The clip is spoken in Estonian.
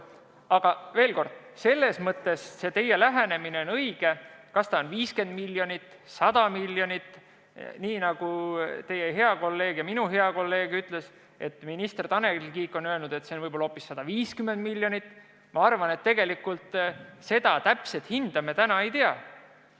Aga veel kord, teie lähenemine on õige, aga kas see summa on 50 miljonit, 100 miljonit, nagu teie hea kolleeg ja minu hea kolleeg ütles, minister Tanel Kiik on öelnud, et see on võib-olla hoopis 150 miljonit – tegelikult seda täpset hinda me täna ei tea.